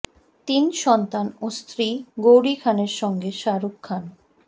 তিন সন্তান ও স্ত্রী গৌরি খানের সঙ্গে শাহরুখ খান